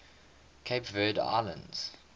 cape verde islands